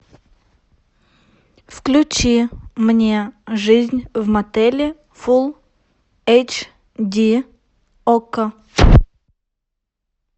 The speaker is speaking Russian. включи мне жизнь в мотеле фулл эйч ди окко